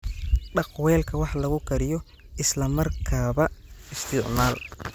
Dhaq weelka wax lagu kariyo isla markaaba isticmaal.